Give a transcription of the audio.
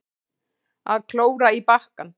Að klóra í bakkann